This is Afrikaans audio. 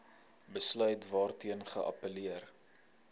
besluit waarteen geappelleer